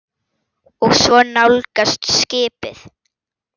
Og svo nálgast skipið.